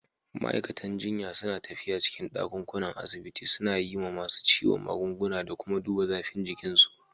Ma'aikatan jinya su na tafiya cikin dakunan asibiti suna yi ma masun ciwo magunguna da kuma dubba zafin jikin su.